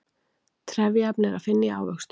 trefjaefni er að finna í ávöxtum